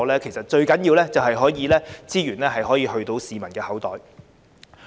因此，最重要的是資源能夠落入市民的口袋。